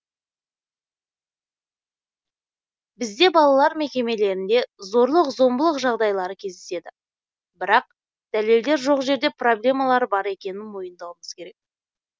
бізде балалар мекемелерінде зорлық зомбылық жағдайлары кездеседі бірақ дәлелдер жоқ жерде проблемалар бар екенін мойындауымыз керек